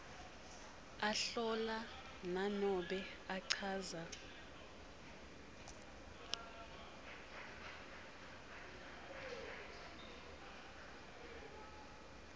ahlola nanobe achaza